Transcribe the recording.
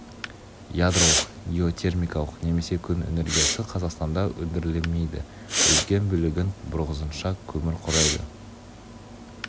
ядролық геотермикалық немесе күн энергиясы қазақстанда өндірілмейді үлкен бөлігін бұрынғысынша көмір құрайды